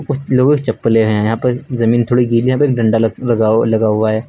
कुछ लोगों की चप्पलें हैं यहां पर जमीन थोड़ी गीली है फिर डंडा लगा लगा हुआ है।